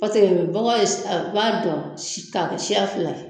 Paseke bɔgɔ ye a b'a dɔn si ta ka kɛ siya fila ye